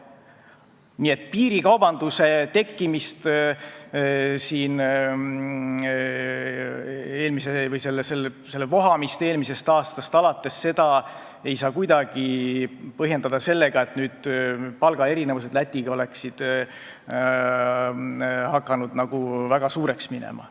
Nii et piirikaubanduse tekkimist või selle vohamist eelmisest aastast alates ei saa kuidagi põhjendada sellega, et palgaerinevus Lätiga võrreldes oleks hakanud väga suureks minema.